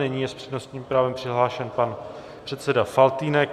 Nyní je s přednostním právem přihlášen pan předseda Faltýnek.